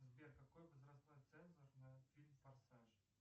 сбер какой возрастной цензор на фильм форсаж